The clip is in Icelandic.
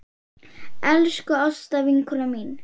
Elsku Ásta vinkona mín.